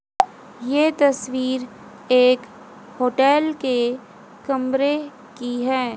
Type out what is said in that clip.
ये तस्वीर एक होटल के कमरे की है।